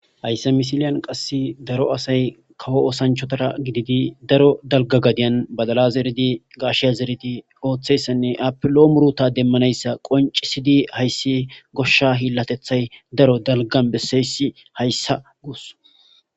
hayssa misiliyan qass daro asay kawo osanchotara gididi daro dalgagadiyan badala zeridi gaashe zeridi ooththessenne apilo muruta demmanayssa qoncisidi hayssi goshsha hiillatethay daro dalgan besseysi hayssa guus